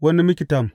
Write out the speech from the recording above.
Wani miktam.